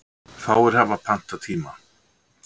Fáir hafi pantað tíma.